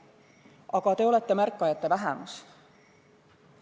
Aga te olete märkajate vähemus.